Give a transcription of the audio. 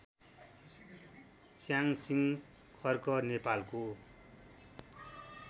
च्यासिङ खर्क नेपालको